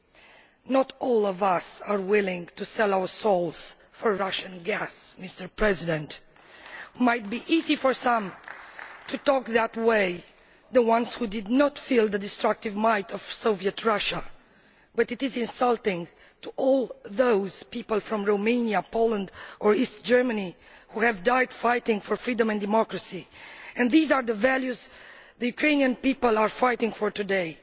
Well, not all of us are willing to sell our souls for Russian gas. It might be easy for some to talk that way the ones who did not feel the destructive might of Soviet Russia but it is insulting to all those people from Romania, Poland or East Germany who died fighting for freedom and democracy, and these are the values the Ukrainian people are fighting for today.